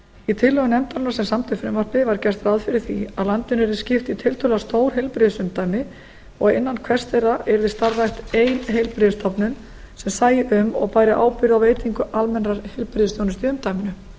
í tillögum nefndarinnar sem samdi frumvarpið var gert ráð fyrir því að landinu yrði skipt í tiltölulega stór heilbrigðisumdæmi og innan hvers þeirra yrði starfrækt ein heilbrigðisstofnun sem sæi um og bæri ábyrgð á veitingu almennrar heilbrigðisþjónustu í umdæminu